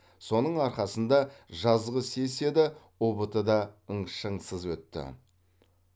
соның арқасында жазғы сессия да ұбт да ың шаңсыз өтті